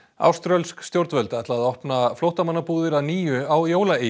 áströlsk stjórnvöld ætla að opna flóttamannabúðir að nýju á